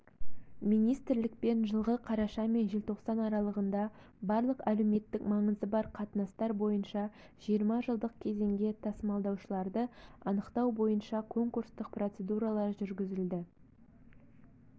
министрлікпен жылғы қараша мен желтоқсан аралығында барлық әлеуметтік маңызы бар қатынастар бойынша жиырма жылдық кезеңге тасымалдаушыларды анықтау бойынша конкурстық процедуралар жүргізілді